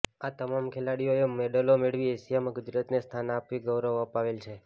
આ તમામ ખેલાડીઓએ મેડલો મેળવી એશિયામાં ગુજરાતને સ્થાન અપાવી ગૌરવ અપાવેલ છે